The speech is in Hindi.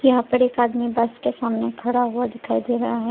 यहां पर एक आदमी बस के सामने खड़ा हुआ दिखाई दे रहा है।